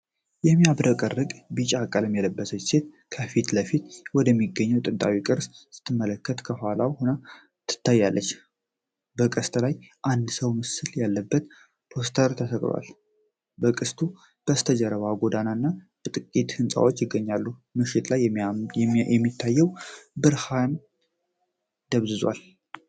የሚያብረቀርቅ ቢጫ ቀሚስ የለበሰች ሴት ከፊት ለፊቷ ወደሚገኝ ጥንታዊ ቅስት ስትመለከት ከኋላዋ ሆና ትታያለች። በቅስቱ ላይ የአንድ ሰው ምስል ያለበት ፖስተር ተሰቅሏል። ከቅስቱ በስተጀርባ ጎዳና እና ጥቂት ሕንፃዎች ይታያሉ፣ ምሽት ላይ የሚታየው ብርሃን ደብዝዟል።